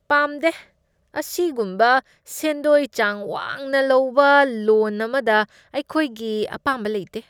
ꯄꯥꯝꯗꯦ! ꯑꯁꯤꯒꯨꯝꯕ ꯁꯦꯟꯗꯣꯏ ꯆꯥꯡ ꯋꯥꯡꯅ ꯂꯩꯕ ꯂꯣꯟ ꯑꯃꯗ ꯑꯩꯈꯣꯏꯒꯤ ꯑꯄꯥꯝꯕ ꯂꯩꯇꯦ꯫